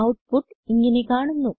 output ഇങ്ങനെ കാണുന്നു